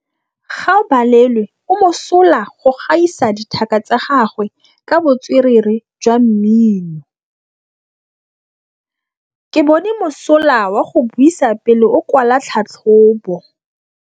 Gaolebalwe o mosola go gaisa dithaka tsa gagwe ka botswerere jwa mmino. Ke bone mosola wa go buisa pele o kwala tlhatlhobô.